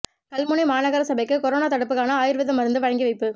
கல்முனை மாநகர சபைக்கு கொரோனா தடுப்புக்கான ஆயுர்வேத மருந்து வழங்கி வைப்பு